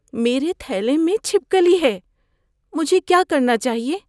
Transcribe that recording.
میرے تھیلے میں چھپکلی ہے۔ مجھے کیا کرنا چاہیے؟